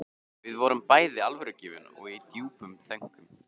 Við vorum bæði alvörugefin og í djúpum þönkum.